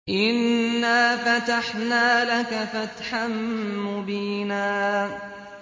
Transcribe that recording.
إِنَّا فَتَحْنَا لَكَ فَتْحًا مُّبِينًا